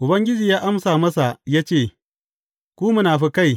Ubangiji ya amsa masa ya ce, Ku munafukai!